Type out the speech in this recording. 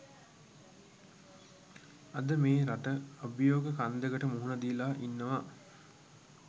අද මේ රට අභියෝග කන්දකට මුහුණ දීලා ඉන්නවා